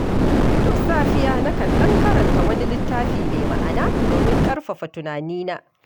Duk safiya, nakan ɗan karanta wani littafi mai ma’ana domin ƙarfafa tunani na.